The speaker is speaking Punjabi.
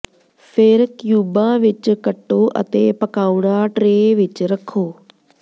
ਫਿਰ ਕਿਊਬਾਂ ਵਿਚ ਕੱਟੋ ਅਤੇ ਪਕਾਉਣਾ ਟਰੇ ਵਿਚ ਰੱਖੋ